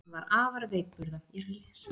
Hann var afar veikburða